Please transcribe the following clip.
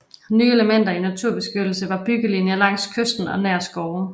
Nye elementer i naturbeskyttelsen var byggelinjer langs kysten og nær skove